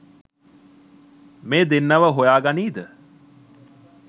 මේ දෙන්නව හොයා ගනීද?